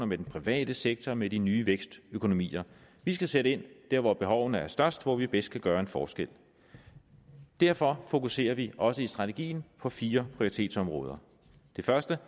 med den private sektor og med de nye vækstøkonomier vi skal sætte ind der hvor behovene er størst og hvor vi bedst kan gøre en forskel derfor fokuserer vi også i strategien på fire prioritetsområder det første